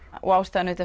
og ástæðan